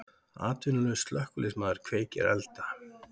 Atvinnulaus slökkviliðsmaður kveikir elda